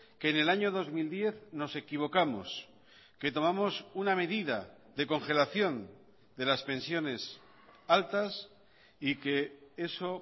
que en el año dos mil diez nos equivocamos que tomamos una medida de congelación de las pensiones altas y que eso